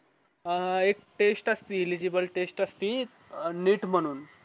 अह एक test असती illegible test असती neet म्हणून